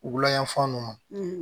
Wulayanfan nunnu